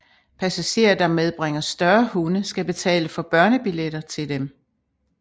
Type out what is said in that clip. Passagerer der medbringer større hunde skal betale for børnebilletter til dem